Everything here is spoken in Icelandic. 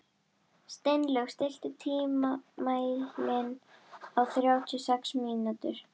Steinlaug, stilltu tímamælinn á þrjátíu og sex mínútur.